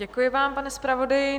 Děkuji vám, pane zpravodaji.